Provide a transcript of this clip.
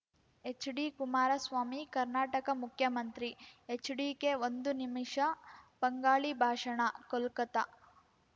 ಹೆಚ್‌ಡಿಕುಮಾರಸ್ವಾಮಿ ಕರ್ನಾಟಕ ಮುಖ್ಯಮಂತ್ರಿ ಎಚ್‌ಡಿಕೆ ಒಂದು ನಿಮಿಷ ಬಂಗಾಳಿ ಭಾಷಣ ಕೋಲ್ಕತಾ